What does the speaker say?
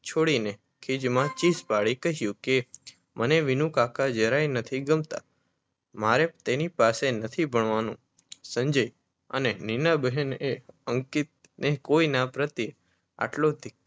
છોડીને ખીજમાં ચીજ પડી કહ્યું કે મને વિનુકાકા જરાય નથી ગમતા મારે તેની પાસે નથી ભણવાનું સંજય અને નીના બહેને અંકિતને કોઈના પ્રત્યેય આટલો